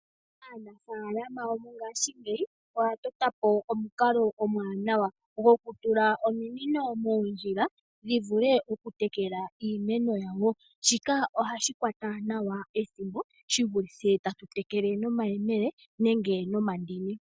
Aanafalama yomo ngashingeyi oya tota po omukalo omwaanawa, gokutula ominino moondjila dhi vule okutekela iimeno yawo. Shika ohashi kwata nawa ethimbo shi vulithe ta tu tekele nomayemele nenge nomandini.